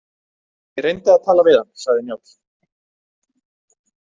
Ég reyndi að tala við hann, sagði Njáll.